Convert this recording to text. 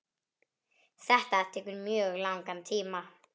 Þetta tekur mjög langan tíma.